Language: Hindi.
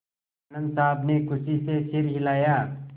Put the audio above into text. आनन्द साहब ने खुशी से सिर हिलाया